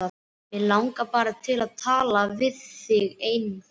Mig langar bara til að tala við þig eina fyrst.